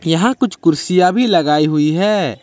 यहां कुछ कुर्सियां भी लगाई हुई है।